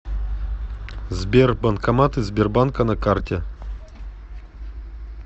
сбер банкоматы сбербанка на карте